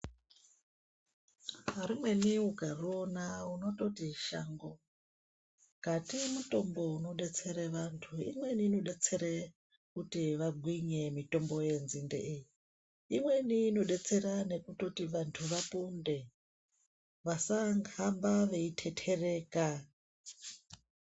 Rimweni ukariona unototi ishango kati mutombo unodetsere vantu. Imweni inodetsere kuti vagwinye mutombo yenzinde iyi, imweni inodetsere kuti vantu vaponde vasahamba veitetereka.